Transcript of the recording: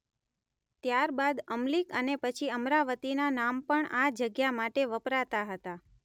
ત્યારબાદ અમલીક અને પછી અમરાવતીનાં નામ પણ આ જગ્યા માટે વપરાતાં હતાં.